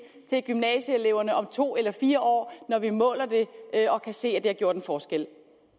til gymnasieeleverne om to eller fire år når vi måler det og kan se at det har gjort en forskel